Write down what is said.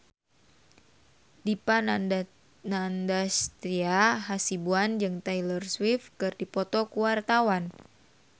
Dipa Nandastyra Hasibuan jeung Taylor Swift keur dipoto ku wartawan